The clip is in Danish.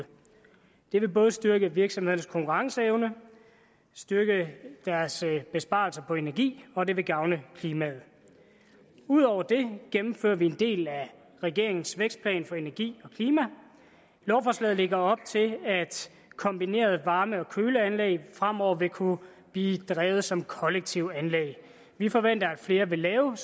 det vil både styrke virksomhedernes konkurrenceevne styrke deres besparelser på energi og det vil gavne klimaet ud over det gennemfører vi en del af regeringens vækstplan for energi og klima lovforslaget lægger op til at kombinerede varme og køleanlæg fremover vil kunne blive drevet som kollektive anlæg vi forventer at flere vil lave